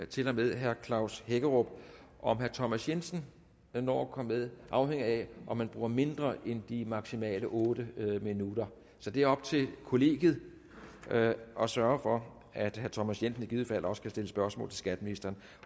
til og med herre klaus hækkerup om herre thomas jensen når at komme med afhænger af om man bruger mindre end de maksimalt otte minutter så det er op til kollegiet at sørge for at herre thomas jensen i givet fald også kan stille spørgsmål til skatteministeren